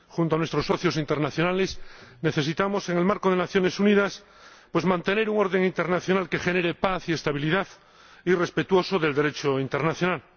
Junto a nuestros socios internacionales necesitamos, en el marco de las Naciones Unidas, mantener un orden internacional que genere paz y estabilidad y que sea respetuoso del Derecho internacional.